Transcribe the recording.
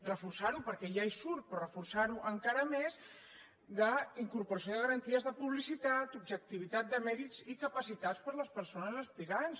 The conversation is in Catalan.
reforçar·ho perquè ja hi surt però reforçar·ho encara més d’incorporació de garanties de publicitat objectivitat de mèrits i capaci·tats per a les persones aspirants